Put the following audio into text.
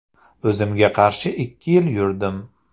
O‘zimga qarshi ikki yil yurdim.